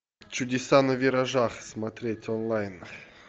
чудеса на виражах смотреть онлайн